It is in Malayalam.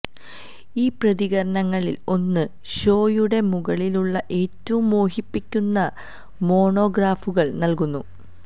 ഈ പ്രതീകങ്ങളിൽ ഒന്ന് ഷോയുടെ മുകളിലുള്ള ഏറ്റവും മോഹിപ്പിക്കുന്ന മോണോഗ്രാഫുകൾ നൽകുന്നു